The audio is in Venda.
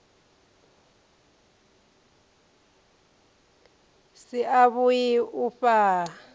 si a vhui u fhaa